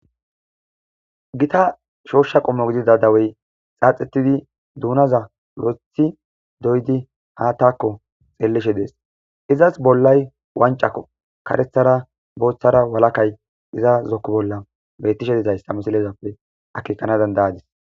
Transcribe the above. Gita shooshsha qommo gidida dawey xaaxetidi duunaza rothi doydi haattakko xeellishe dees izas bollay wancakko karethara booththara walakay iza zokku bolla beyttishe dizayssa misilezappe akekana dandayadis.